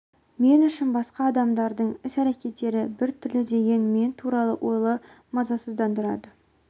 мен үшін басқа адамдардың іс-әрекеті біртүрлі деген мен туралы ойлары мазасыздандырады